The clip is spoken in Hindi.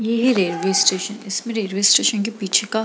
ये रेलवे स्टेशन इसमें रेलवे स्टेशन के पीछे का --